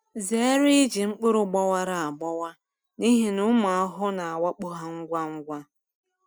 Zere iji mkpụrụ gbawara agbawa n’ihi na ụmụ ahụhụ na-awakpo ha ngwa ngwa.